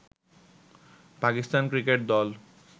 Pakistan cricket দল